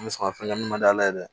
N bɛ sɔn ka fɛn kɛ ma d'ala ye dɛ